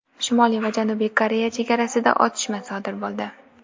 Shimoliy va Janubiy Koreya chegarasida otishma sodir bo‘ldi.